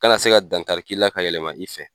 kana se ka dankari k'i la ka yɛlɛma i fɛ.